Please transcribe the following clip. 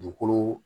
Dugukolo